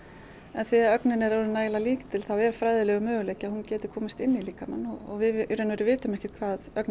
þegar ögnin er orðin nægilega lítil þá er fræðilegur möguleiki að hún geti komist inn í líkamann og við vitum ekkert hvað